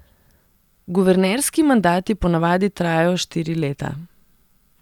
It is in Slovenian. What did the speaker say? Guvernerski mandati ponavadi trajajo štiri leta.